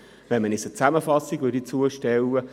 Man sollte uns eine Zusammenfassung zustellen.